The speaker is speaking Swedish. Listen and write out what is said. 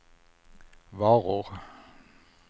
varor